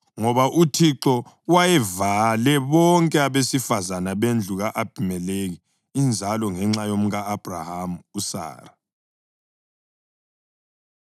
ngoba uThixo wayevale bonke abesifazane bendlu ka-Abhimelekhi inzalo ngenxa yomka-Abhrahama, uSara.